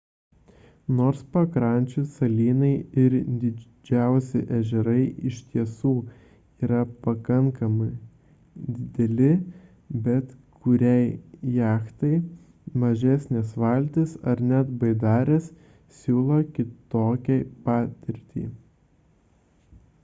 nors pakrančių salynai ir didžiausi ežerai iš tiesų yra pakankamai dideli bet kuriai jachtai mažesnės valtys ar net baidarės siūlo kitokią patirtį